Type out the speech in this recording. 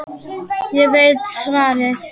Ég veit svarið.